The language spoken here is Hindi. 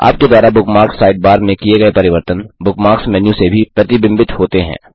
आपके द्वारा बुकमार्क्स साइडबार में किए गए परिवर्तन बुकमार्क्स मेन्यू में भी प्रतिबिंबित होते हैं